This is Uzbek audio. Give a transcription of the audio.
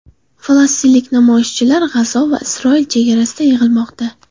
Falastinlik namoyishchilar G‘azo va Isroil chegarasida yig‘ilmoqda.